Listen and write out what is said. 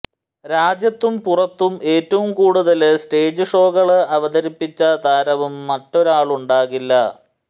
രാജ്യത്തും പുറത്തും ഏറ്റവും കൂടുതല് സ്റ്റേജ് ഷോകള് അവതരിപ്പിച്ച താരവും മറ്റൊരാളുണ്ടാകില്ല